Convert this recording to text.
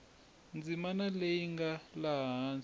ndzimana leyi nga laha hansi